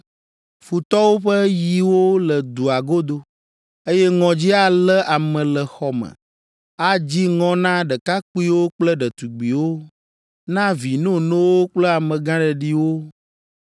Futɔwo ƒe yiwo le dua godo, eye ŋɔdzi alé ame le xɔ me. Adzi ŋɔ na ɖekakpuiwo kple ɖetugbiwo, na vi nonowo kple amegãɖeɖiwo.